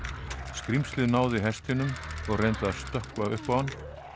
skrímslið náði hestinum og reyndi að stökkva upp á hann